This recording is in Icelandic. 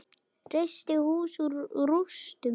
Reisti hús úr rústum.